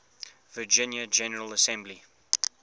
virginia general assembly